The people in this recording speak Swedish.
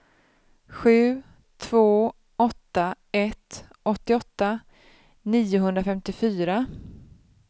sju två åtta ett åttioåtta niohundrafemtiofyra